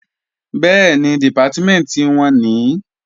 Bẹ́ẹ̀ni, Dìpátímẹ̀ntì wọn nìí